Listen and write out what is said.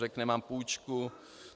Řekne: Mám půjčku.